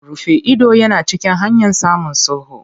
Rufe ido yana cikin hanyan samun sulhu.